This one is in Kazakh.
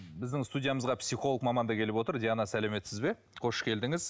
біздің студиямызға психолог маман да келіп отыр диана сәлеметсіз бе қош келдіңіз